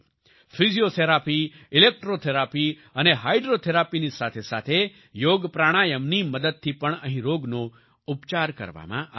physiotherapy electrotherapy અને હાઈડ્રોથેરાપીની સાથે સાથે યોગપ્રાણાયમની મદદથી પણ અહીં રોગનો ઉપચાર કરવામાં આવે છે